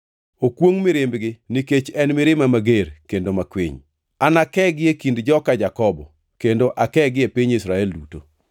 Okwongʼ mirimbgi nikech en mirima mager kendo makwiny. Anakegi e kind joka Jakobo kendo akegi e piny Israel duto.